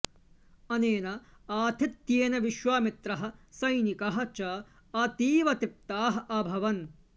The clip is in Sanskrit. अनेन आतिथ्येन विश्वामित्रः सैनिकाः च अतीव तृप्ताः आभवन्